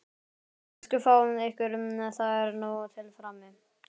Elsku fáið ykkur, það er nóg til frammi.